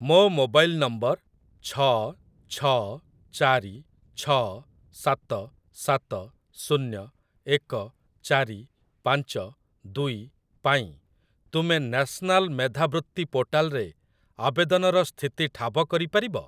ମୋ mobile number ଛଅ ଛଅ ଚାରି ଛଅ ସାତ ସାତ ଶୁନ୍ୟ ଏକ ଚାରି ପାଞ୍ଚ ଦୁଇ ପାଇଁ ତୁମେ ନ୍ୟାସନାଲ ମେଧାବୃତ୍ତି ପୋର୍ଟାଲରେ ଆବେଦନର ସ୍ଥିତି ଠାବ କରି ପାରିବ?